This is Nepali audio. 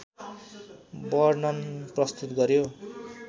वर्णन प्रस्तुत गर्‍यो।